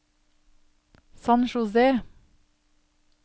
San José